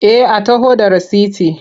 Eh a taho da rasiti.